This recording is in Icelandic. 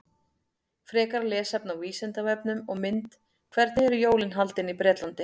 Frekara lesefni á Vísindavefnum og mynd Hvernig eru jólin haldin í Bretlandi?